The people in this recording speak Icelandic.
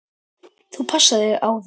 Þú passar þig á þeim.